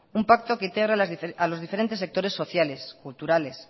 un pacto que integre a los diferentes sectores sociales culturales